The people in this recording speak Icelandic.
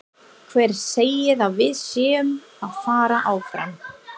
Hver segir að við séum að fara áfram?